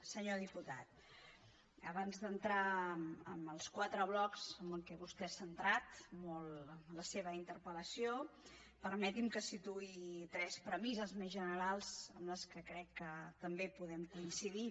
senyor diputat abans d’entrar en els quatre blocs en què vostè ha centrat molt la seva interpel·lació permeti’m que situï tres premisses més generals amb les quals crec que també podem coincidir